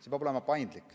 See peab olema paindlik.